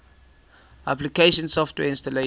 application software installation